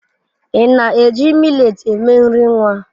Ị na-eji millet eme nri nwa?